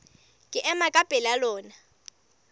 ke ema ka pela lona